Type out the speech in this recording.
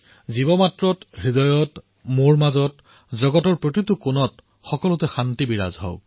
জীৱমাত্ৰত হৃদয়ত মোত আপোনাত জগতৰ প্ৰতিটো কোণত সকলো স্থানতে শান্তি স্থাপিত হওক